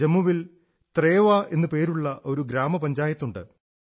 ജമ്മുവിൽ ത്രേവാ എന്നു പേരുള്ള ഒരു ഗ്രാമപഞ്ചായത്തുണ്ട്